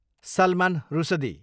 Salman Rushdie